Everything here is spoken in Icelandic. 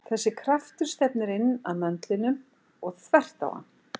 Þessi kraftur stefnir inn að möndlinum og þvert á hann.